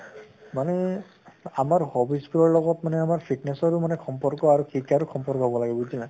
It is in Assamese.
মানে আমাৰ hobbies তোৰ লগত মানে আমাৰ fitness ৰো মানে সম্পৰ্ক আৰু সম্পৰ্ক হʼব লাগে বুজিলা?